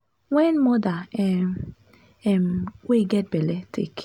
wen moda um um wey get belle take